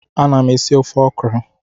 Ana m esi ofe ọkrọ